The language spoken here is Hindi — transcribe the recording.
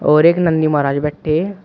और एक नंदी महाराज बैठे हैं।